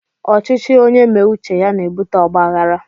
Ọchịchị onye me uche ya n'ebụte ọgbághárá